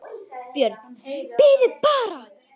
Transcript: BJÖRN: Bíðið bara!